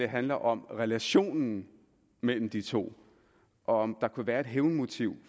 handler om relationen mellem de to og om der kunne være et hævnmotiv